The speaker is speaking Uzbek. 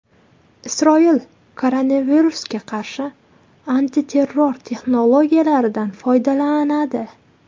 Isroil koronavirusga qarshi antiterror texnologiyalardan foydalanadi.